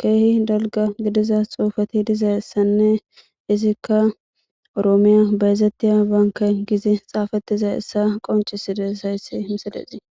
keehi dalga gidiza xuufati dizayssanne izikka oroomiya bayzettiya baanka gizi xaafatiza issa qoncisides hayssi misadesii